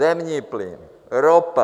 Zemní plyn, ropa.